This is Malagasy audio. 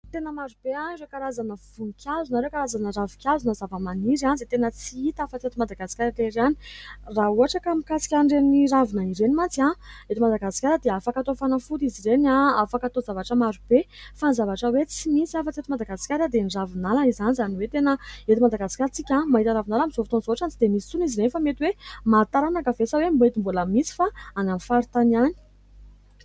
Tena maro be ireo karazana voninkazo na ireo karazana ravin-kazo na zava-maniry izay tena tsy hita afa-tsy eto Madagasikara eto ihany. Raha ohatra ka mikasika an'ireny ravina ireny mantsy eto Madagasikara dia afaka atao fanafody izy ireny, afaka atao zavatra maro be fa ny zavatra hoe tsy misy afa-tsy eto Madagasikara dia ny ravinala izany. Izany hoe tena eto Madagasikara antsika mahita ravinala. Amin'izao fotoana izao ohatra ny tsy dia misy tsony izy ireny fa mety hoe maty taranaka ve sa mety mbola misy fa any amin'ny faritany ihany.